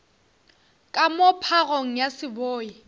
ka moo phagong ya seboi